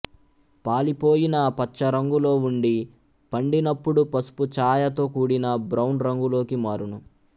పాలిపోయిన పచ్చరంగులో వుండి పండినప్పుడు పసుపు ఛాయతోకూడిన బ్రౌన్ రంగులోకి మారును